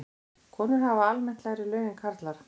Konur hafa almennt lægri laun en karlar.